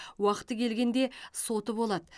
уақыты келгенде соты болады